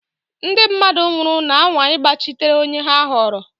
Ndị mmadụ nwụrụ na-anwa ịgbachitere onye ha họọrọ.